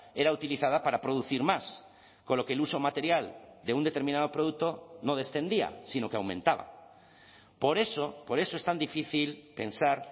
era utilizada para producir más con lo que el uso material de un determinado producto no descendía sino que aumentaba por eso por eso es tan difícil pensar